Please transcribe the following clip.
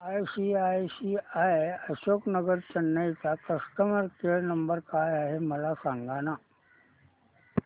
ICICI Ashok Nagar Chennai चा customer care number काय आहे मला सांगाना